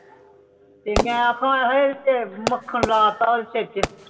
ਤੇ ਮੈ ਅੱਖਾਂ ਆਏ ਹੈ ਮੱਖਣ ਲੈ ਤਾ ਓਦੇ ਸਿਰ ਛੇ